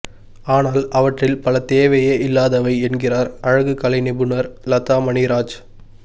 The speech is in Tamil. ஆனால் அவற்றில் பல தேவையே இல்லாதவை என்கிறார் அழகு கலை நிபுணர் லதாமணி ராஜ்